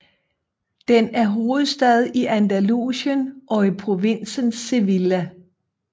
Den er hovedstad i Andalusien og i provinsen Sevilla